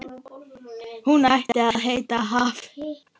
Hún ætti að heita Haf.